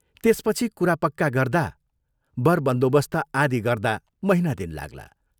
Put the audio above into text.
त्यसपछि कुरा पक्का गर्दा, बर बन्दोबस्त आदि गर्दा महीना दिन लाग्ला।